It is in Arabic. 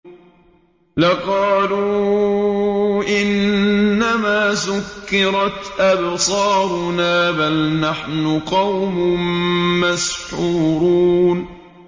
لَقَالُوا إِنَّمَا سُكِّرَتْ أَبْصَارُنَا بَلْ نَحْنُ قَوْمٌ مَّسْحُورُونَ